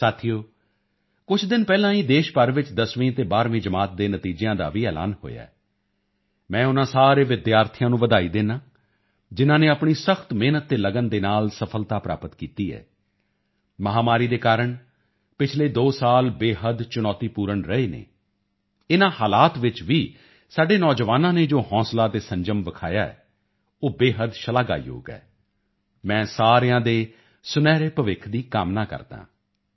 ਸਾਥੀਓ ਕੁਝ ਦਿਨ ਪਹਿਲਾਂ ਹੀ ਦੇਸ਼ ਭਰ ਵਿੱਚ 10ਵੀਂ ਅਤੇ 12ਵੀਂ ਜਮਾਤ ਦੇ ਨਤੀਜਿਆਂ ਦਾ ਵੀ ਐਲਾਨ ਹੋਇਆ ਹੈ ਮੈਂ ਉਨ੍ਹਾਂ ਸਾਰੇ ਵਿਦਿਆਰਥੀਆਂ ਨੂੰ ਵਧਾਈ ਦਿੰਦਾ ਹਾਂ ਜਿਨ੍ਹਾਂ ਨੇ ਆਪਣੀ ਸਖਤ ਮਿਹਨਤ ਅਤੇ ਲਗਨ ਦੇ ਨਾਲ ਸਫ਼ਲਤਾ ਪ੍ਰਾਪਤ ਕੀਤੀ ਹੈ ਮਹਾਮਾਰੀ ਦੇ ਕਾਰਨ ਪਿਛਲੇ ਦੋ ਸਾਲ ਬੇਹੱਦ ਚੁਣੌਤੀਪੂਰਨ ਰਹੇ ਹਨ ਇਨ੍ਹਾਂ ਹਾਲਾਤਾਂ ਵਿੱਚ ਵੀ ਸਾਡੇ ਨੌਜਵਾਨਾਂ ਨੇ ਜੋ ਹੌਸਲਾ ਅਤੇ ਸੰਜਮ ਦਿਖਾਇਆ ਹੈ ਉਹ ਬੇਹੱਦ ਸ਼ਲਾਘਾਯੋਗ ਹੈ ਮੈਂ ਸਾਰਿਆਂ ਦੇ ਸੁਨਹਿਰੇ ਭਵਿੱਖ ਦੀ ਕਾਮਨਾ ਕਰਦਾ ਹਾਂ